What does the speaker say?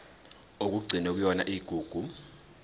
okugcinwe kuyona igugu